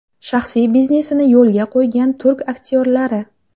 Shaxsiy biznesini yo‘lga qo‘ygan turk aktyorlari .